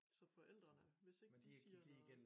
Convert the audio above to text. Så forældrene hvis ikke de siger noget